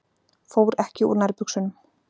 Fór ekki úr nærbuxunum.